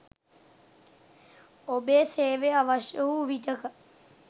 ඔබේ සේවය අවශ්‍ය වූ විටක